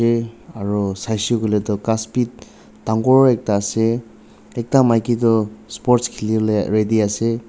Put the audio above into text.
eh aro sai she koi le tho khas beh dangor ekta ase ekta maki tu sport khele bole ready ase.